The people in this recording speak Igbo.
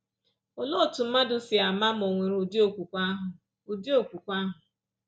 Olee otú mmadụ sị ama ma ò nwere ụdị okwukwe ahụ? ụdị okwukwe ahụ?